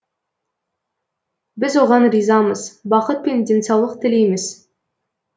біз оған ризамыз бақыт пен денсаулық тілейміз